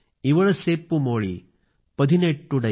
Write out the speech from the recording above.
मुप्पधू कोडी मुगामुदायल एनिल माईपुरम ओंद्रुदयाळ